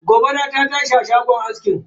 Gobara ta tashi a shagon aski.